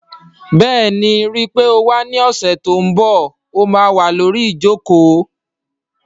Bẹ́ẹ̀ni, ríi pé o wá ní ọ̀sẹ̀ tó n bọ̀, ó má wà lórí ìjòkó